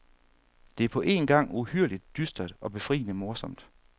Det er på en gang uhyrligt dystert og befriende morsomt.